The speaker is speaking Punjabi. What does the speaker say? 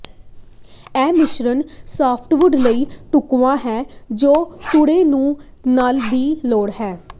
ਇਹ ਮਿਸ਼ਰਣ ਸਾਫਟਵੁਡ ਲਈ ਢੁਕਵਾਂ ਹੈ ਜੋ ਡੂੰਘੇ ਸੰ ਨਣ ਦੀ ਲੋੜ ਹੈ